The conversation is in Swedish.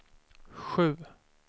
sju